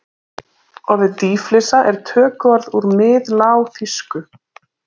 Orðið dýflissa er tökuorð úr miðlágþýsku.